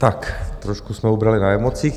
Tak trošku jsme ubrali na emocích.